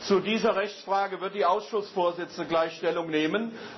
Zu dieser Rechtsfrage wird die Ausschussvorsitzende gleich Stellung nehmen.